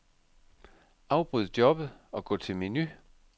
Afbryd jobbet og gå til menu.